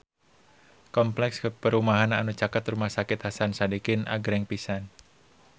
Kompleks perumahan anu caket Rumah Sakit Hasan Sadikin agreng pisan